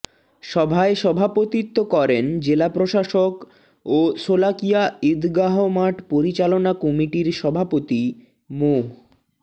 সভায় সভাপতিত্ব করেন জেলা প্রশাসক ও শোলাকিয়া ঈদগাহ মাঠ পরিচালনা কমিটির সভাপতি মো